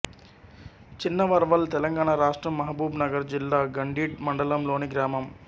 చిన్నవర్వల్ తెలంగాణ రాష్ట్రం మహబూబ్ నగర్ జిల్లా గండీడ్ మండలంలోని గ్రామం